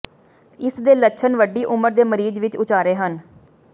ਇਸ ਦੇ ਲੱਛਣ ਵੱਡੀ ਉਮਰ ਦੇ ਮਰੀਜ਼ ਵਿਚ ਉਚਾਰੇ ਹਨ